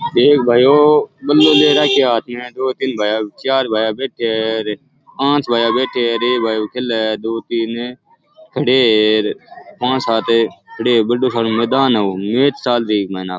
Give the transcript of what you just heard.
एक भायो बलों ले राखो है हाथ में दो तीन भाया चार भाया बैठा है र पांच भाया बैठा है और एक भायों खेल र अ दो तीन खड़े है र पांच सात खड़े है बड़ो सारों मैदान है ओ मैच चाल रो है इक माइन।